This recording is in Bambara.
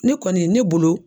Ne kɔni ne bolo.